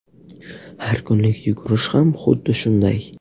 Har kunlik yugurish ham xuddi shunday.